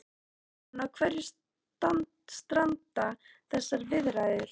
Katrín, á hverju stranda þessar viðræður?